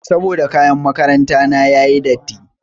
Saboda kayan makaranta na yayi datti.